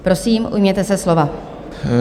Prosím, ujměte se slova.